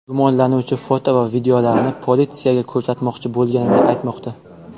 Gumonlanuvchi foto va videolarni politsiyaga ko‘rsatmoqchi bo‘lganini aytmoqda.